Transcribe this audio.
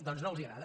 doncs no els agrada